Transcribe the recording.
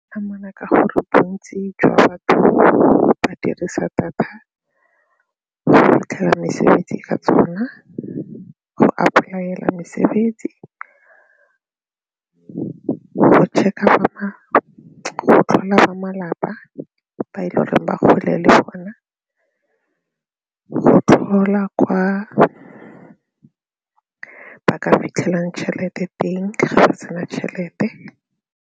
Amana ka gore bontsi jwa batho ba dirisa data go fitlhela mesebetsi ka tsona, go apply-ela mesebetsi, go check-a ba go tlhola ba malapa ba e le goreng ba kgole le bona go tlhola kwa ba ka fitlhelang tšhelete teng ga ba sena tšhelete.